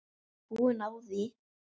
Búin á því.